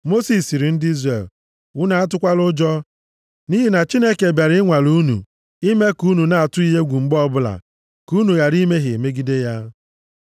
Mosis sịrị ndị Izrel, “Unu atụkwala ụjọ, nʼihi na Chineke bịara ịnwale unu ime ka unu na-atụ ya egwu mgbe ọbụla ka unu ghara imehie megide ya.”